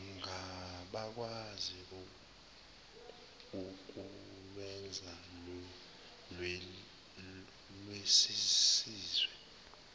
ngabakwazi ukulwenza lwenzisiswe